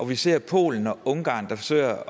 vi ser polen og ungarn der forsøger at